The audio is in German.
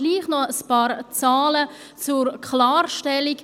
Dennoch ein paar Zahlen zur Klarstellung.